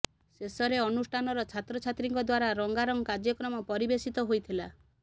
ଶେଷର ଅନୁଷ୍ଠାନର ଛାତ୍ରଛାତ୍ରୀଙ୍କ ଦ୍ୱାରା ରଙ୍ଗାରଙ୍ଗ କାର୍ଯ୍ୟକ୍ରମ ପରିବେଷିତ ହୋଇଥିଲା